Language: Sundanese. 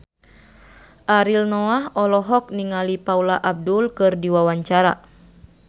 Ariel Noah olohok ningali Paula Abdul keur diwawancara